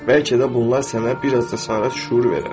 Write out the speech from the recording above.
Bəlkə də bunlar sənə bir az da azadlıq şüuru verər.